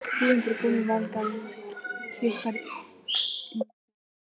Kvíðinn fyrir komu Valgarðs kitlar innyflin.